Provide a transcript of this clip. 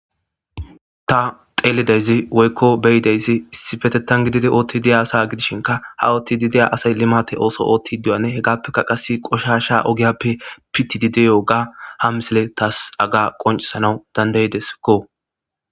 Ta xelidayzi woyko be'idazi issipetetan gididi othidi de'iya asa gidishinka ha othidi de'iya asay limate oso othidi diyogane hegapeka qasi qoshasha ogiyape pitidi de'iyoga ha missiley tas haga qonc'isanaw danda'desko.